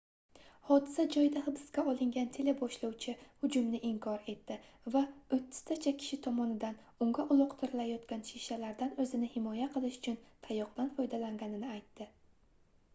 hodisa joyida hibsga olingan teleboshlovchi hujumni inkor etdi va oʻttiztacha kishi tomonidan unga uloqtirilayotgan shishalardan oʻzini himoya qilish uchun tayoqdan foydalanganini aytdi